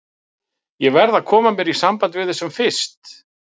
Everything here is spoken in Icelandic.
Ég verð að koma mér í samband við þau sem fyrst.